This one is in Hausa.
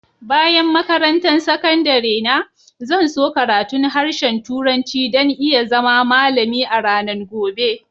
Bayan makarantan sakandare na, zan so karatun harshen turanci dan n'iya zama malami a'ranan gobe.